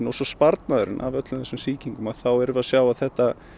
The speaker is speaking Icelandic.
og svo sparnaðurinn af öllu þessum sýkingum þá erum við að sjá að þetta